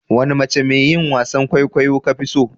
Wani mace mai yin wasan kwaikwayo ka fi so?